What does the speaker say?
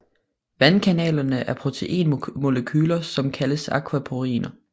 Vandkanalerne er proteinmolekyler som kaldes aquaporiner